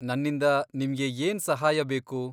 ನನ್ನಿಂದ ನಿಮ್ಗೆ ಏನ್ ಸಹಾಯ ಬೇಕು?